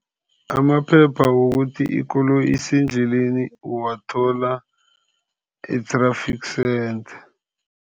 Amaphepha wokuthi ikoloyi isendleleni uwathola e-traffic center.